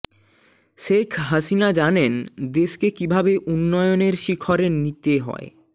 শেখ হাসিনা জানেন দেশকে কিভাবে উন্নয়নের শিখরে নিতে হয়